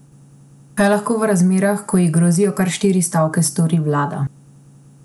Kaj lahko v razmerah, ko ji grozijo kar štiri stavke, stori vlada?